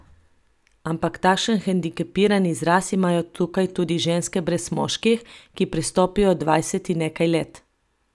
Ampak takšen hendikepiran izraz imajo tukaj tudi ženske brez moških, ki prestopijo dvajset in nekaj let.